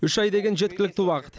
үш ай деген жеткілікті уақыт